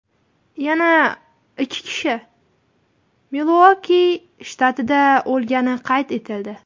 Yana ikki kishi Miluoki shtatida o‘lgani qayd etildi.